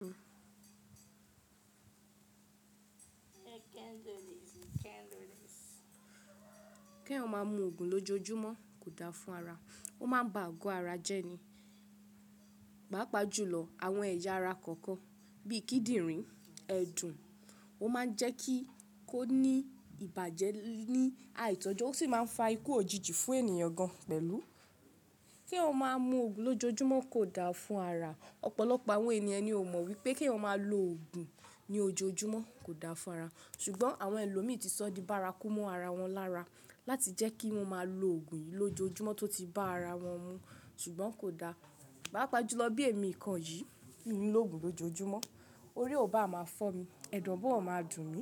Kí èèyàn má mú ògùn lójoojúmọ́ kò da fún ara. Ó máa ń ba àgọ́ ara jẹ́ ni. Páápaá jùlọ àwọn ẹ̀yà ara kọ̀ọ̀kan bíi kíndìnrín, ẹ̀dùn, ó máa ń jẹ́ kí kó ní ìbàjẹ́ ní àìtọ́jọ́, ó sì máa ń fa ikú òjijì fún ènìyàn gan pẹ̀lú. K'éèyàn má mú ògùn lójoojúmọ́ kò da fún ara. Ọ̀pọ̀lọpọ̀ àwọn ènìyàn ni ó mọ wípé kí èèyàn máa lo ògùn ní ojoojúmọ́ kò da fún ara, ṣùgbọ́n àwọn ẹlòmíì ti sọ ní bárakú mọ́ ara wọn lára láti jẹ́ kí wón máa lo ògùn yìí lójoojúmọ́ tó ti bá ara wọn mú ṣùgbọ́n kò da. Páápa jùlọ bí èmi kan yìí, mi ò ń lògùn lójoojúmọ́. Orí ò bá máa fọ́ mi, ẹ̀dọ̀ ò báà máa dùn mí,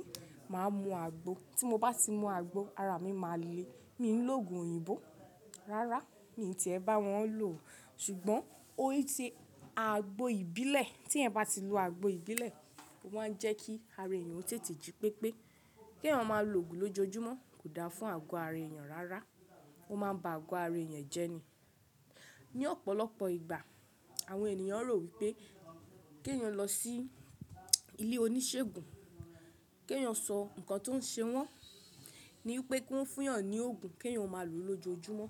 màá mú àgbo. Tí mo bá ti mú àgbo, ara mi máa le. Mi ò ń lògùn òyìnbó. Rárá, mi ò ti è bá wọn lò ó. Ṣùgbọ́n ooti àgbo ìbílẹ̀, tí èèyan bá ti lo àgbo ìbílẹ̀, ó máa ń jẹ́ kí ara ènìyàn tètè jí pépé. Kí èèyàn máa lo ògùn lójoojúmọ́ kò da fún àgọ́ ara ènìyàn rárá. Ó máa ń ba àgọ́ ara ènìyàn jẹ́ ni. Ni ọ̀pọ̀lọpọ̀ ìgbà àwọn ènìyàn rò wípé kí ẹ yàn lọ sí ilé oníṣègùn, kí ẹ yàn sọ ǹkan tó ń ṣe wọ́n, ni wípé kó fún yàn ni ògùn kí ẹ máa lò lójoojúmọ́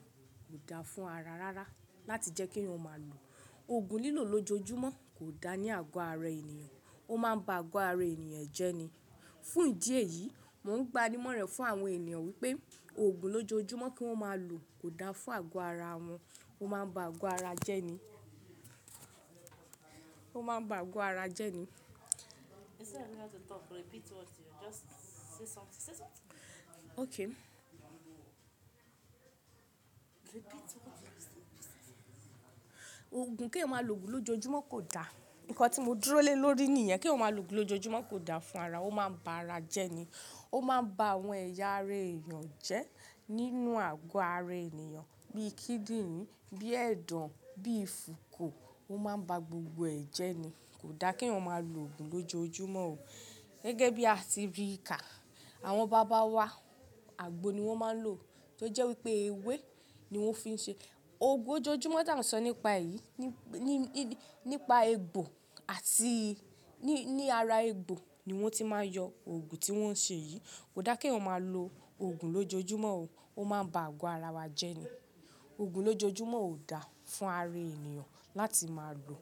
kò da fún ara rárá. Láti jẹ́ kí èèyàn máa lo ògùn lílò lójoojúmọ́ kò da ní àgọ́ ara ènìyàn. Ó máa ń ba àgọ́ ara ènìyàn jẹ́ ni. Fún ìdí èyí, mò ń gba ní mọ̀ràn fún àwọn ènìyàn wípé ògùn lójoojúmọ́ kí wón máa lò kò da fún àgọ́ ara wọn. Ó máa ń ba àgò ara jẹ́ ni. Ó máa ń ba àgò ara jẹ́ ni. You still have to talk. Repeat what you just say something. Say something. Okay. Repeat what you just said. Ògùn kí èèyàn máa lo ògùn lójoojúmọ́ kò da. Ǹkan tí mo dúró lélórí nìyẹn, k'èèyàn máa lo ògùn lójoojúmọ́ kò da fún ara. Ó máa ń ba ara jẹ́ ni. Ó máa ń ba àwọn ẹ̀yà ara ènìyàn jẹ́ nínú àgọ́ ara ènìyàn bíi kíndìnrín, bíi ẹ̀dọ̀n, bíi fúkù. Ó máa ń ba gbogbo ẹ̀ jẹ́ ni. Kò da k'èèyàn máa lo ògùn lójoojúmọ́ o. Gẹ́gẹ́ bí à ti rí ka, àwọn bàbá wa, àgbo ni wón máa ń lò tó jẹ́ wípé ewé ni wón fi ń ṣe. Ògùn lójoojúmọ́ tà n sọ nípa ẹ̀ yí, nípa egbò àti ní ara egbò ni wón ti máa ń yọ ògùn tí wón ń ṣe yìí. Kò da k'èèyàn máa lo ògùn lójoojúmọ́ o. Ó máa ń ba àgọ́ ara wa jẹ́ ni. Ògùn lójoojúmọ́ ò da fún ara ènìyàn láti máa lò.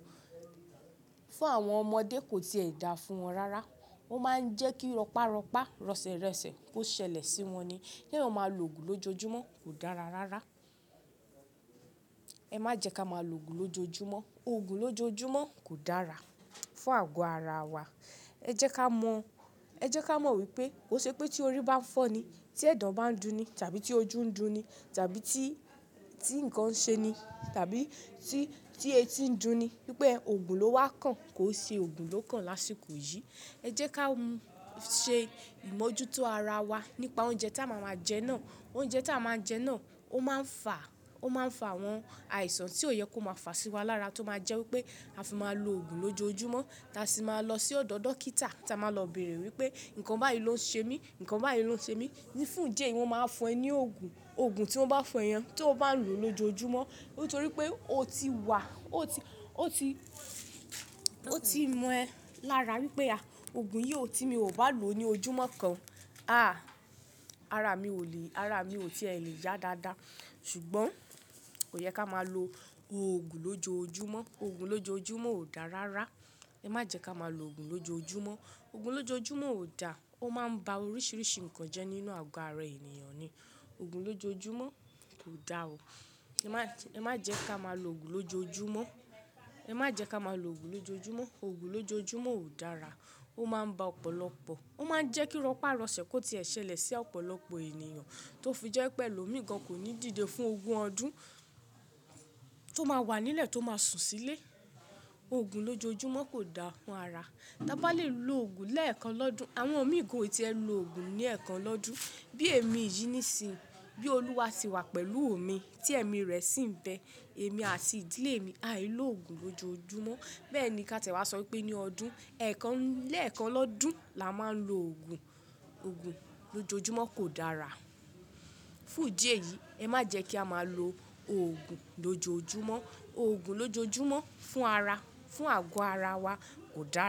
Fún àwọn ọmọdé kò tí ì dáa fún wọn rárá. Ó máa ń jẹ́ kí rọpá rọpá, rọ̀sẹ̀ rọ̀sẹ̀ kó ṣẹlẹ̀ sí wọn ni. Kí ẹ máa lo ògùn lójoojúmọ́ kò dára rárá. Ẹ má jẹ́ ká máa lo ògùn lójoojúmọ́. Ògùn lójoojúmọ́ kò dára fún àgọ́ ara wa. Ẹ jẹ́ ká mọ, ẹ jẹ́ ká mọ wípé kó n ṣe pé tí orí bá ń fọ́ ni, tí ẹ̀dọ̀ bá ń dùn ni tàbí tí ojú ń dùn ni tàbí tí, tí ǹkan ń ṣe ni tàbí tí, tí etí ń dùn ni wípé ògùn ló wá kàn kó ṣe ògùn ló kàn lásìkò yìí. Ẹ jẹ́ ká ṣe ìmójútó ara wa nípa oúnjẹ tí a máa ń jẹ náà. Oúnjẹ tí a máa ń jẹ náà ó máa ń fà, ó máa ń fà àwọn àìsàn tí ò yẹ kó máa fà sí wa lára tó máa jẹ́ wípé a fi máa lo ògùn lójoojúmọ́. Taa sì máa lọ sí ọ̀dọ̀ dókítà, táa máa lọ bèèrè wípé ǹkan báyìí ló ń ṣe mí, ǹkan báyìí ló ń ṣe mí. Ni fún ìdí èyí wọn máa fún ẹ ní òògùn. Ògùn tí wọ́n bá fún ẹ yẹn tí o bá lò lójoojúmọ́ nítorí pé ó ti wà, ó ti, ó ti, ó ti mọ ẹ lára wípé à, ògùn yìí ó ti mi ò bá lò ó ní ojúmọ́ kan, àá, ara mi ò lè, ara mi ò ti è lè yá dáadáa. Ṣùgbọ́n kò yẹ ká máa lo ògùn lójoojúmọ́. Ògùn lójoojúmọ́ ò da rárá. Ẹ má jẹ́ ká máa lo ògùn lójoojúmọ́. Ògùn lójoojúmọ́ ò da. Ó máa ń ba oríṣiríṣi nǹkan jẹ́ nínú àgọ́ ara ènìyàn ni. Ògùn lójoojúmọ́ kò da o. Ẹ má jẹ́ ká máa lo ògùn lójoojúmọ́. Ẹ má jẹ́ ká máa lo ògùn lójoojúmọ́. Ògùn lójoojúmọ́ ò dára. Ó máa ń ba ọ̀pọ̀lọpọ̀, ó máa ń jẹ́ kí rọpá rọ̀sẹ̀ kó ti ṣẹlẹ̀ sí ọ̀pọ̀lọpọ̀ ènìyàn tó fi jẹ́ pé ẹlòmíì gan kò ní dìde fún ogún ọdún, tó máa wà nílẹ̀ tó máa sùn sílé. Ògùn lójoojúmọ́ kò da fún ara. Tá bá lè lo ògùn lẹ́ẹ̀kan lọ́dún. Àwọn omíì gan ò ti ẹ lo ògùn ní ẹ̀ẹ̀kan lọ́dún. Bí èmi yìí nísinyìí, bí Olúwa tì wà pẹ̀lú mi tí ẹ̀mí rẹ̀ sì ń bẹ, èmi àti ìdílé mi àì ló ògùn lójoojúmọ́. Bẹ́ẹ̀ ni kí a tẹ̀wá sọ wípé ní ọdún ẹ̀ẹ̀kan lẹ́ẹ̀kan lọ́dún la máa ń lo ògùn. Ògùn lójoojúmọ́ kò dára. Fún ìdí èyí, ẹ má jẹ́ kí a máa lo ògùn lójoojúmọ́. Ògùn lójoojúmọ́ fún ara, fún àgọ́ ara wa kò da.